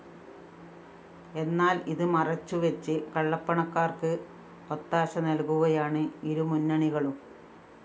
എന്നാല്‍ ഇത് മറച്ച് വച്ച് കള്ളപ്പണക്കാര്‍ക്ക് ഒത്താശ നല്‍കുകയാണ് ഇരുമുന്നണികളും